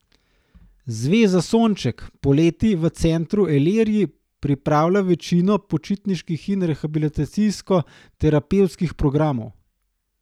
Zveza Sonček poleti v centru Elerji pripravlja večino počitniških in rehabilitacijsko terapevtskih programov.